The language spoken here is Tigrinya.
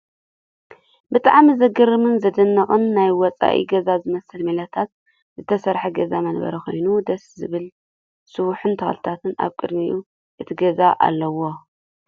ብጣዕሚ ዝገርምን !ዘደንቅን! ናይ ወፃኢ ገዛ ዝመስል ማላታት ዝተሰርሐ ገዛ መንበሪ ኮይኑ ደስ ዝብል ሰውሒን ተኽሊታት ኣብ ቅድሚ እቲ ገዛ ኣለው።